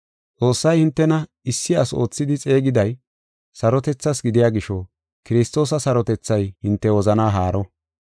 Xoossay hintena issi asi oothidi xeegiday, sarotethaas gidiya gisho Kiristoosa sarotethay hinte wozanaa haaro.